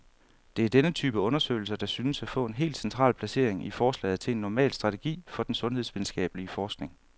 Det er denne type undersøgelser, der synes at få et helt central placering i forslaget til en normal strategi for den sundhedsvidenskabelig forskning.